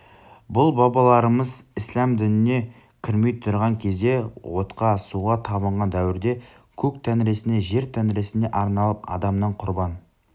бұл бабаларымыз ісләм дініне кірмей тұрған кезде отқа суға табынған дәуірде көк тәңірісіне жер тәңірісіне арналып адамнан құрбан